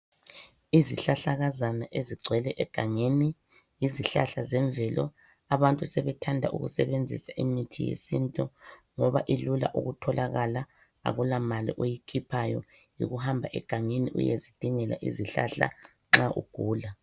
Izihlahlakazana ezigcwele egangeni yizihlahla zemvelo, abantu sebethanda ukusebenzisa imithi yesintu ngoba ilula ukutholakala akulamali oyikhiphayo. Yikuhamba egangeni uyezidingela isihlahla nxa ugula.